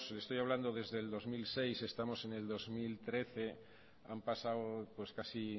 estoy hablando desde el dos mil seis y estamos en el dos mil trece han pasado pues casi